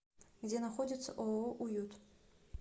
где находится ооо уют